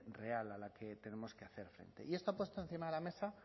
real a la que tenemos que hacer frente y esto puesto encima de la mesa